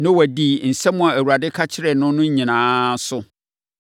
Noa dii nsɛm a Awurade ka kyerɛɛ no no nyinaa so.